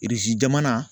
jamana